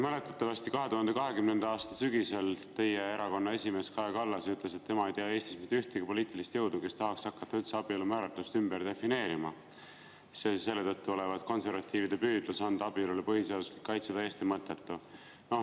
Mäletatavasti ütles 2020. aasta sügisel teie erakonna esimees Kaja Kallas, et tema ei tea Eestis ühtegi poliitilist jõudu, kes tahaks hakata üldse abielu määratlust ümber defineerima, selle tõttu olevat konservatiivide püüdlus anda abielule põhiseaduslik kaitse täiesti mõttetu.